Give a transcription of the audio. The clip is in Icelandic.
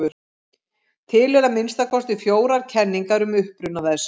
Til eru að minnsta kosti fjórar kenningar um uppruna þess.